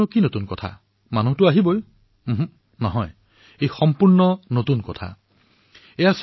আপোনালোকে ভাবিছে যে ইয়াত নতুন কথা কি আছে ভিৰ হব পাৰে নহয় ইয়াত নতুন কথা আছে